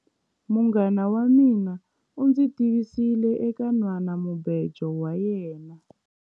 Munghana wa mina u ndzi tivisile eka nhwanamubejo wa yena.